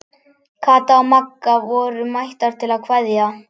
Kata og Magga voru mættar til að kveðja.